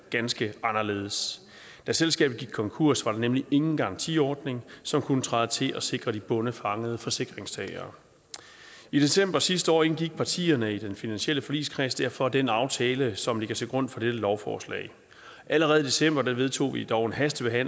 ganske anderledes da selskabet gik konkurs var der nemlig ingen garantiordning som kunne træde til og sikre de bondefangede forsikringstagere i december sidste år indgik partierne i den finansielle forligskreds derfor den aftale som ligger til grund for dette lovforslag allerede i december vedtog vi dog et hasteforslag